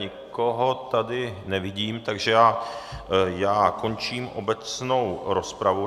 Nikoho tady nevidím, takže já končím obecnou rozpravu.